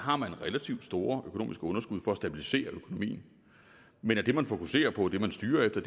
har man relativt store underskud for at stabilisere økonomien men det man fokuserer på og det man styrer efter